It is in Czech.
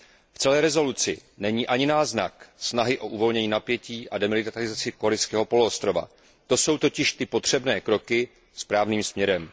V celém usnesení není ani náznak snahy o uvolnění napětí a demilitarizaci Korejského poloostrova, to jsou totiž ty potřebné kroky správným směrem.